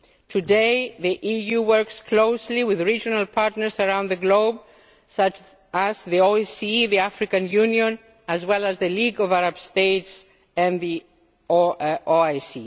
them. Today the EU works closely with regional partners around the globe, such as the OSCE, the African Union, as well as the League of Arab States and the